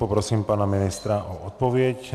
Poprosím pana ministra o odpověď.